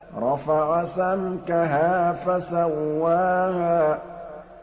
رَفَعَ سَمْكَهَا فَسَوَّاهَا